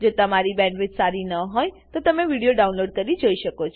જો તમારી પાસે સારી બેન્ડવિડ્થ ન હોય તો તમે વિડીયો ડાઉનલોડ કરીને જોઈ શકો છો